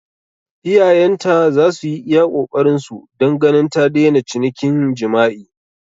Iyayenta za su yi iya ƙoƙarinsu don ganin ta daina cinikin jima'i.